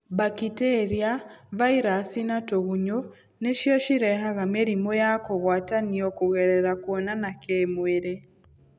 Mbakitĩria, vairaci na tũgunyũ nĩcio cirehaga mĩrimũ ya kũgwatanio kũgerera kũonana kĩmwĩrĩ.